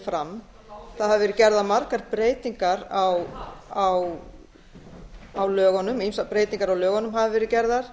fram það hafa verið gerðar margar breytingar á lögunum ýmsar breytingar á lögunum hafa verið gerðar